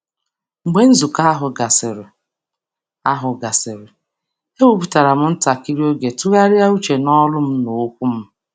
Mgbe nzukọ ahụ gasịrị, ahụ gasịrị, ewepụtara m ntakịrị oge tụgharịa uche n’olu m na okwu m.